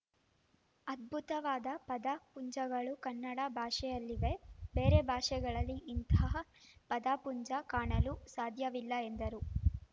ಅದ್ಭುತವಾದ ಪದ ಪುಂಜಗಳು ಕನ್ನಡ ಭಾಷೆಯಲ್ಲಿವೆ ಬೇರೆ ಭಾಷೆಗಳಲ್ಲಿ ಇಂತಹ ಪದಪುಂಜ ಕಾಣಲು ಸಾಧ್ಯವಿಲ್ಲ ಎಂದರು